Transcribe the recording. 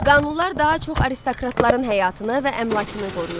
Qanunlar daha çox aristokratların həyatını və əmlakını qoruyurdu.